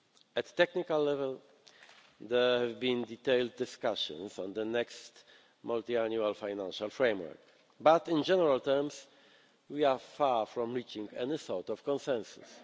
At a technical level, there have been detailed discussions on the next multiannual financial framework, but, in general terms, we are far from reaching any sort of consensus.